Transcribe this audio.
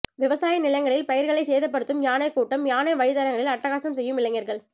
விவசாய நிலங்களில் பயிா்களை சேதப்படுத்தும் யானைக் கூட்டம்யானை வழித்தடங்களில் அட்டகாசம் செய்யும் இளைஞா்கள்